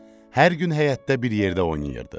Hər gün həyətdə bir yerdə oynayırdıq.